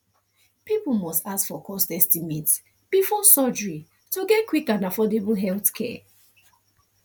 people must ask for cost estimate before surgery to get quick and affordable healthcare